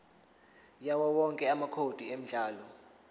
yawowonke amacode emidlalo